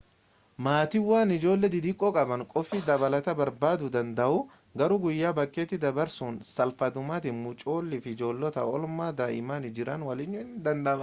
maatiiwwan ijoollee xixiqqoo qaban qophii dabalataa barbaaduu danda'u garuu guyyaa bakkeetti dabarsuun salphaadhumatti mucoolii fi ijoollota oolmaa daa'immanii jiran waliiniyyuu ni danda'ama